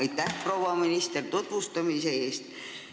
Aitäh, proua minister, tutvustamise eest!